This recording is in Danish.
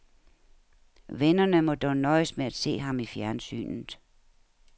Vennerne må dog nøjes med at se ham i fjernsynet.